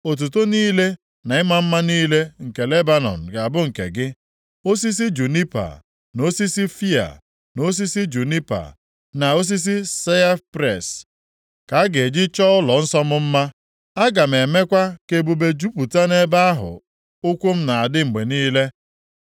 “Otuto niile na ịma mma niile nke Lebanọn ga-abụ nke gị. Osisi junipa, na osisi fịa, na osisi junipa, na osisi saipres, ka a ga-eji chọọ ụlọnsọ m mma. Aga m emekwa ka ebube jupụta nʼebe ahụ ụkwụ m na-adị mgbe niile.